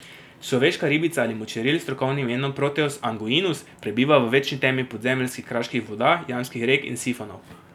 Človeška ribica ali močeril, s strokovnim imenom Proteus anguinus, prebiva v večni temi podzemeljskih kraških voda, jamskih rek in sifonov.